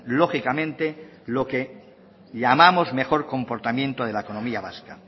lógicamente lo que llamamos mejor comportamiento de la economía vasca